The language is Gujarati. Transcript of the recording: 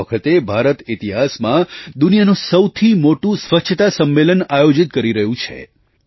આ વખતે ભારત ઇતિહાસમાં દુનિયાનું સૌથી મોટું સ્વચ્છતા સંમેલન આયોજિત કરી રહ્યું છે